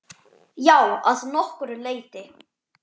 Já, að nokkru leyti.